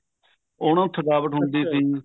ਉਹਨੂੰ ਥਕਾਵਟ ਹੁੰਦੀ ਥੀ